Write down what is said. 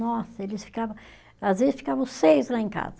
Nossa, eles ficava, às vezes ficava os seis lá em casa.